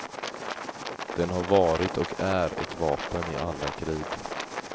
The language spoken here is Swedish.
Den har varit och är ett vapen i alla krig.